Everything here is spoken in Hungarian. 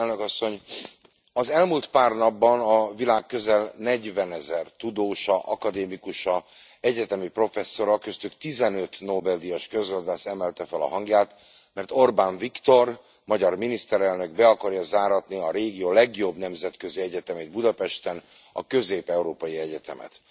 Elnök asszony! Az elmúlt pár napban a világ közel negyvenezer tudósa, akadémikusa, egyetemi professzora, köztük tizenöt Nobel díjas közgazdász emelte fel a hangját, mert Orbán Viktor, magyar miniszterelnök be akarja záratni a régió legjobb nemzetközi egyetemét Budapesten, a Közép európai Egyetemet.